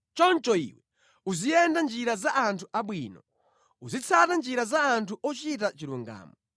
Choncho iwe uziyenda mʼnjira za anthu abwino, uzitsata njira za anthu ochita chilungamo.